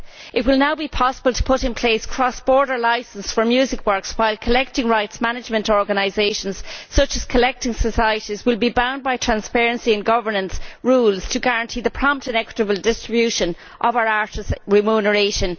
It will now be possible to put in place a cross border licence for music works, while collective rights management organisations, such as collecting societies, will be bound by transparency and governance rules to guarantee the prompt and equitable distribution of our artists' remuneration.